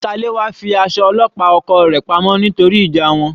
Salewa fi aṣọ ọlọ́pàá oko rẹ̀ pa mọ́ nítorí ìjà wọn.